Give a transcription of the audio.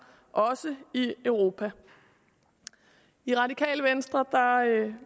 også i europa i radikale venstre